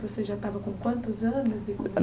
Você já estava com quantos anos e